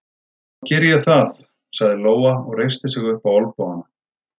Þá geri ég það, sagði Lóa og reisti sig upp á olnbogana.